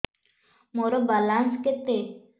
ମୋର ବାଲାନ୍ସ କେତେ